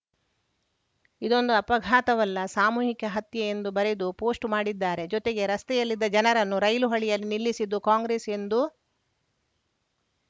ಇದೊಂದು ಅಪಘಘಾತವಲ್ಲ ಸಾಮೂಹಿಕ ಹತ್ಯ ಎಂದು ಬರೆದು ಪೋಸ್ಟ್‌ ಮಾಡಿದ್ದಾರೆ ಜೊತೆಗೆ ರಸ್ತೆಯಲ್ಲಿದ್ದ ಜನರನ್ನು ರೈಲು ಹಳಿಯಲ್ಲಿ ನಿಲ್ಲಿಸಿದ್ದು ಕಾಂಗ್ರೆಸ್‌ ಎಂದು